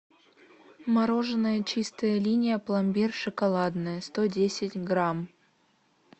мороженое чистая линия пломбир шоколадное сто десять грамм